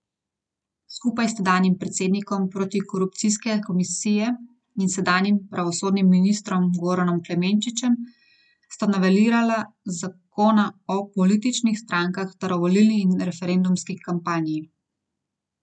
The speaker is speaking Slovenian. Skupaj s tedanjim predsednikom protikorupcijske komisije in sedanjim pravosodnim ministrom Goranom Klemenčičem sta novelirala zakona o političnih strankah ter o volilni in referendumski kampanji.